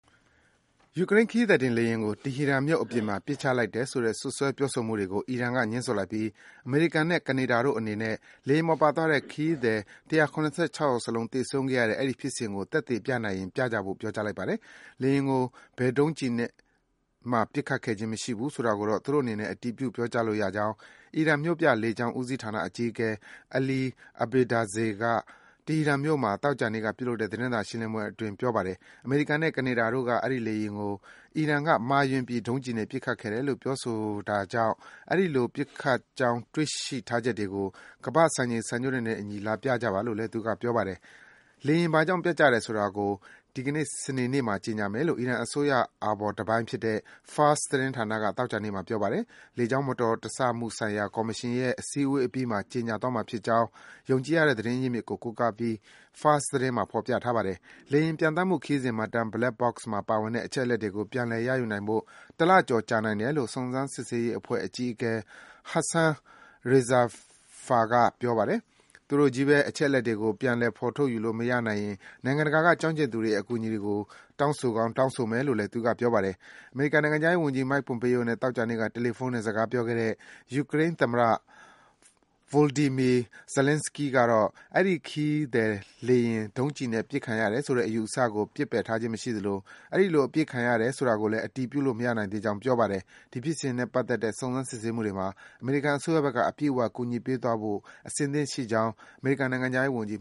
ယူကရိန်းခရီးသည်တင်လေယာဉ်ကို တီဟီရန်မြို့အပြင်မှာ ပစ်ချလိုက်တယ်ဆိုတဲ့ စွပ်စွဲပြောဆိုမှုတွေကို အီရန်က ငြင်းဆိုလိုက်ပြီး အမေရိကန်နဲ့ ကနေဒါတို့အနေနဲ့ လေယာဉ်ပေါ်ပါသွားတဲ့ ခရီးသည် ၁၇၆ ယောက်စလုံး သေဆုံးခဲ့ရတဲ့ အဲဒီဖြစ်စဉ်ကို သက်သေပြနိုင်ရင် ပြကြဖို့ ပြောကြားလိုက်ပါတယ်။ လေယာဉ်ကို ဘယ်ဒုံးကျည်နဲ့ပစ်ခဲ့ခြင်းမရှိဘူးဆိုတာကိုတော့ သူတို့အနေနဲ့ အတည်ပြု ပြောကြားလို့ရကြောင်း အီရန် မြို့ပြလေကြောင်း ဦးစီးဌာနအကြီးအကဲ Ali Abedzadeh က တီဟီရန်မြို့မှာ သောကြာနေ့က ပြုလုပ်တဲ့သတင်းစာရှင်းလင်းပွဲအတွင်း ပြောပါတယ်။ အမေရိကန်နဲ့ ကနေဒါတို့က အဲဒီလေယာဉ်ကို အီရန်က မှားယွင်းပြီး ဒုံးကျည်နဲ့ ပစ်ခတ်ခဲ့တယ်လို့ ပြောဆိုနေတာကြောင့် အဲဒီလို ပစ်ခတ်ကြောင်း တွေ့ရှိထားချက်တွေကို ကမ္ဘာ့စံချိန် စံညွန်းတွေနဲ့အညီ လာပြကြပါလို့လည်း Abedzadeh က ပြောပါတယ်။ လေယာဉ်ဘာကြောင့် ပျက်ကျတယ်ဆိုတာကို ဒီကနေ့ စနေနေ့မှာ ကြေညာမယ်လို့ အီရန်အစိုးရအာဘော်တပိုင်းဖြစ်တဲ့ Fars သတင်းဌာနက သောကြာနေ့မှာ ပြောပါတယ်။ လေကြောင်းမတော်တဆမှုဆိုင်ရာ ကော်မရှင်ရဲ့ စည်းဝေးပွဲအပြီးမှာ ကြေညာသွားမှာဖြစ်ကြောင်း ယုံကြည်ရတဲ့ သတင်းအရင်းမြစ်ကို ကိုးကားပြီး Fars သတင်းမှာ ဖော်ပြထားပါတယ်။ လေယာဉ်ပျံသန်းမှုခရီးစဉ်မှတ်တမ်း Black Box မှာပါတဲ့ အချက်အလက်တွေကို ပြန်လည် ရယူနိုင်ဖို့ တလကျော်ကြာနိုင်တယ်လို့ အီရန်စုံစမ်းစစ်ဆေးရေးအဖွဲ့ အကြီးအကဲ Hassan Rezaeifar က ပြောပါတယ်။ သူတို့ချည်းဘဲ အချက်အလက်တွေကို ပြန်လည် ဖော်ထုတ်ယူလို့မရခဲ့ရင် နိုင်ငံတကာက ကျွမ်းကျင်သူတွေရဲ့ အကူအညီကို တောင်းဆိုကောင်း တောင်းဆိုမယ်လို့လည်း သူက ပြောပါတယ်။ အမေရိကန်နိုင်ငံခြားရေးဝန်ကြီး Mike Pompeo နဲ့ သောကြာနေ့က တယ်လီဖုန်းနဲ့ စကားပြောခဲ့တဲ့ ယူကရိန်းသမ္မတ Voldymyr Zelenskiy ကတော့ အဲဒီ ခရီးသည်လေယာဉ် ဒုံးကျည်နဲ့ ပစ်ချခံရတယ်ဆိုတဲ့ အယူအဆကို ပစ်ပယ်ထားခြင်းမရှိသလို အဲဒီလို အပစ်ခံရတယ် ဆိုတာကိုလည်း အတည်ပြုလို့ မရနိုင်သေးကြောင်း ပြောပါတယ်။ ဒီဖြစ်စဉ်နဲ့ပတ်သက်တဲ့ စုံစမ်း စစ်ဆေးမှုတွေမှာ အမေရိကန်အစိုးရဘက်က အပြည့်အ၀ ကူညီပေးသွားဖို့ အစဉ်သင့်ရှိကြောင်း အမေရိကန်နိုင်ငံခြားရေးဝန်ကြီး